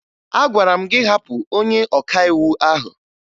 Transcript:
Agwara m gị hapụ onye ọkàiwu ahụ!